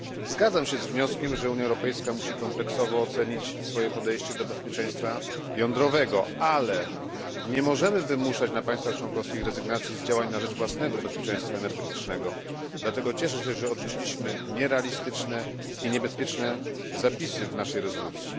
Zgadzam się z wnioskiem, że Unia Europejska musi kompleksowo ocenić swoje podejście do bezpieczeństwa jądrowego, ale nie możemy wymuszać na państwach członkowskich rezygnacji z działań na rzecz własnego bezpieczeństwa energetycznego, dlatego cieszę się, że odrzuciliśmy nierealistyczne i niebezpieczne zapisy w naszej rezolucji.